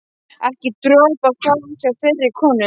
Ekki dropa að fá hjá þeirri konu.